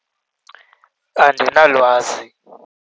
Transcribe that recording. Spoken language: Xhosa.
Andinalwazi.